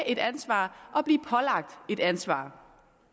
et ansvar og blive pålagt et ansvar